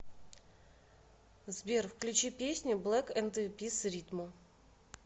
сбер включи песню блек энд пис ритмо